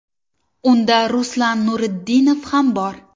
Unda Ruslan Nurudinov ham bor.